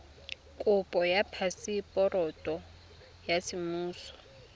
kopo ya phaseporoto ya semmuso